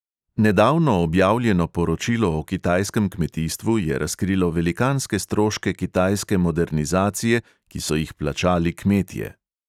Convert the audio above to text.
Nedavno objavljeno poročilo o kitajskem kmetijstvu je razkrilo velikanske stroške kitajske modernizacije, ki so jih plačali kmetje.